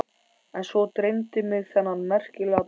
En svo dreymdi mig þennan merkilega draum.